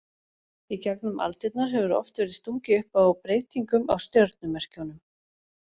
Í gegnum aldirnar hefur oft verið stungið upp á breytingum á stjörnumerkjunum.